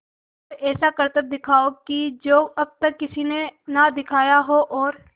कोई ऐसा करतब दिखाओ कि जो अब तक किसी ने ना दिखाया हो और